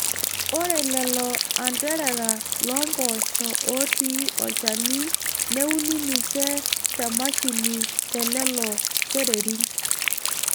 Ore lelo anterera loo mpoosho ootii olchani neuni ninche te mashini telelo kererin.